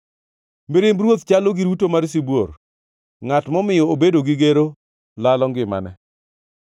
Mirimb ruoth chalo gi ruto mar sibuor; ngʼat momiyo obedo gi gero lalo ngimane.